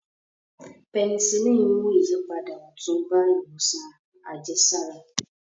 Pẹnisilíìnì mú ìyípadà ọ̀tun bá ìwòsàn àjẹsára